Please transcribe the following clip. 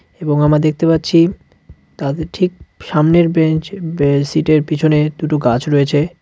এবং আমরা দেখতে পাচ্ছি তাদের ঠিক সামনের বেঞ্চ বে সিট -এর পিছনে দুটো গাছ রয়েছে।